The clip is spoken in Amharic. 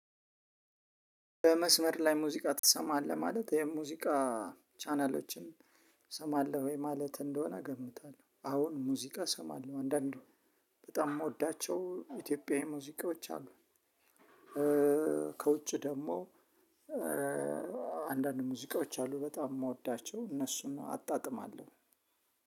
በመስመር ላይ ሙዚቃ ትሰማለህ ማለት የሙዚቃ ቻናሎችን ትሰማለህ? ወይ ማለት እንደሆነ እገምታለሁ አሁን ሙዚቃ እሰማለሁ አንዳንድ በጣም የምወዳቸው ኢትዮጵያዊ ሙዚቃዎች አሉ። ከውጭ ደግሞ አንዳንድ ሙዚቃዎች አሉ በጣም የምወዳቸው እነሱን አጣጥማለሁ።